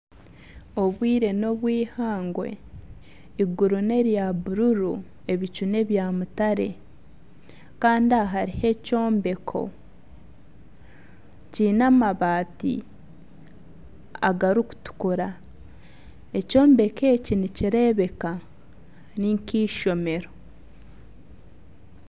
Obwire nobw'eihangwe eiguru nerya buruuru, ebicu nebya mutare kandi aha hariho ekyombeko kiine amabaati agarikutukura, ekyombeko eki nikireebeka ni nk'eishomero.